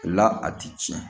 O la a ti tiɲɛ